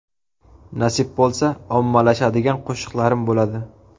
Nasib bo‘lsa, ommalashadigan qo‘shiqlarim bo‘ladi.